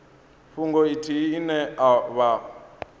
fhungo ithihi ine vha o